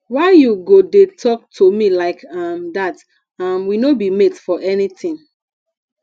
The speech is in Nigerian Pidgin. why you go dey talk to me like um dat um we no be mate for anything